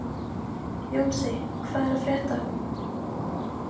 Jónsi, hvað er að frétta?